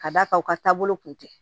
Ka d'a kan u ka taabolo kun tɛ